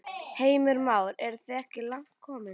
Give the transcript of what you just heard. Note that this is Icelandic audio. Heimir Már: En eru þið ekki langt komin?